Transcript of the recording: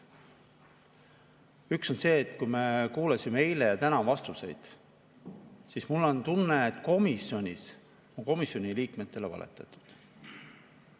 Üks asi on see, et kui me kuulasime eile ja täna vastuseid, siis mul on tunne, et komisjonis on komisjoni liikmetele valetatud.